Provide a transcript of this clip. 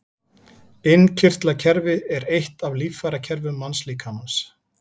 Innkirtlakerfi er eitt af líffærakerfum mannslíkamans.